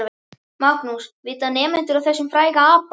Magnús: Vita nemendur af þessum fræga apa?